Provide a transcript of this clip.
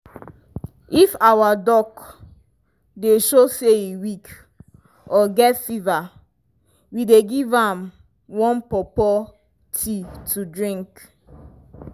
if our duck dey show say e weak or get fever we dey give am warm pawpaw tea to drink.